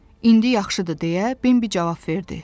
İndi yaxşıdır, deyə Bembi cavab verdi.